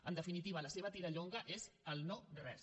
en definitiva la seva tirallonga és el no res